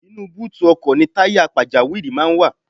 Inú búùtù ọkọ̀ ni táyà pàjáwìrì máa ń wà.